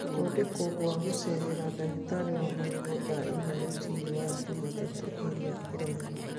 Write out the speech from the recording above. Gũthondekwo gwa gũceera ndagĩtarĩ wa magego thaa inya rũcinĩ wa Jumatatu ĩrĩa ĩroka